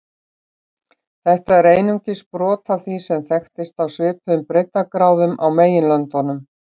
Þetta er einungis brot af því sem þekkist á svipuðum breiddargráðum á meginlöndunum.